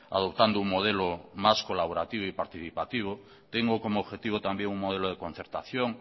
adoptando un modelo más colaborativo y participativo tengo como objetivo también un modelo de concertación